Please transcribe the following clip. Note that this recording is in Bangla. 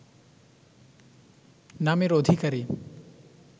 নামের অধিকারী